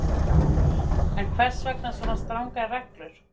En hvers vegna svo strangar reglur?